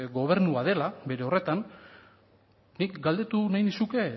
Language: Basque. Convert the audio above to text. gobernua dela bere horretan nik galdetu nahi nizuke